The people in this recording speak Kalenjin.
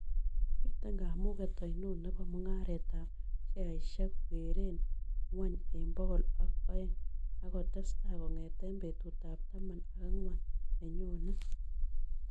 miten kamuget ainon ne po mung'aretap sheaisiek kegeeren ng'wony eng' bogol ak oeng' ak ketestai kong'eten betutap taman ak ang'wan ne nyone